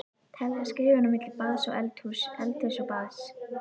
Telja skrefin á milli baðs og eldhúss, eldhúss og baðs.